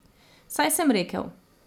Saj sem rekel.